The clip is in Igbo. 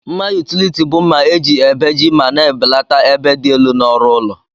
Mma utiliti bu mma eji ebeji ma na ebelata ebe di elu na ọrụ ụlọ.